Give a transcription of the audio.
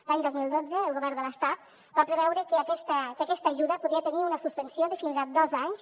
l’any dos mil dotze el govern de l’estat va preveure que aquesta ajuda podia tenir una suspensió de fins a dos anys